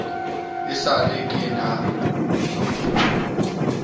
e sa le ke na